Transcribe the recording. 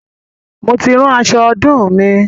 Mo ti rán aṣọ ọdún mi